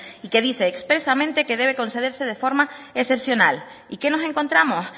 y que dice expresamente que debe concederse de forma excepcional y qué nos encontramos